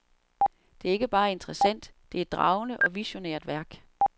Det er ikke bare interessant, det er et dragende og visionært værk.